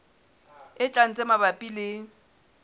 e tlang tse mabapi le